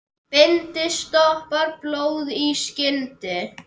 Bindi stoppar blóð í skyndi.